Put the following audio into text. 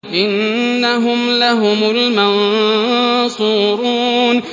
إِنَّهُمْ لَهُمُ الْمَنصُورُونَ